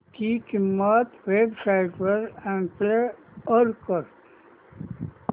ची किंमत websites वर कम्पेअर कर